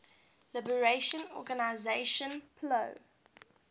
liberation organization plo